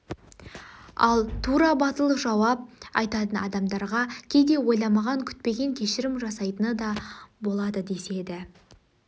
ал тура батыл жауап айтатын адамдарға кейде ойламаған күтпеген кешірім жасайтыны да болады деседі